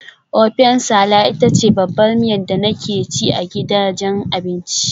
Ofẹ nsala ita ce babbar miya da nake ci a gidajen abinci.